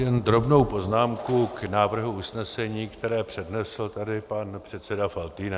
Jen drobnou poznámku k návrhu usnesení, které přednesl tady pan předseda Faltýnek.